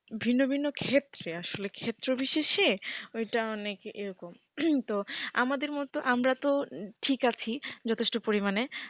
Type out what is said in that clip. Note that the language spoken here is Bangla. ভিন্ন ভিন্ন ক্ষেত্রে আসলে ক্ষেত্রবিশেষে ওইটা অনেক এরকম তো আমাদের মত আমরা তো ঠিক আছি যথেষ্ট পরিমাণে,